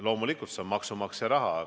Loomulikult, see on maksumaksja raha.